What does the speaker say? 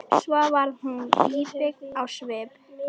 Svo varð hún íbyggin á svip.